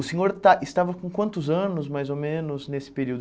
O senhor esta estava com quantos anos, mais ou menos, nesse período?